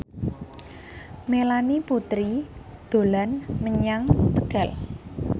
Melanie Putri dolan menyang Tegal